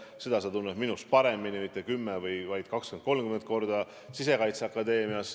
Seda valdkonda sa tunned minust paremini mitte 10, vaid 20–30 korda.